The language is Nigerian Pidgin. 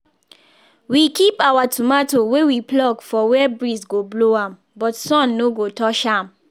we keep our tomato wey we pluck for where breeze go blow am but sun no go touch am